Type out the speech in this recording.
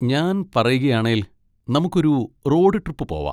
ഞാൻ പറയുകയാണേൽ, നമുക്കൊരു റോഡ് ട്രിപ്പ് പോവാ.